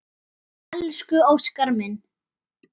Elsku Óskar minn.